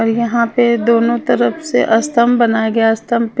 और यहां पे दोनों तरफ से स्तंभ बनाया गया स्तंभ पे--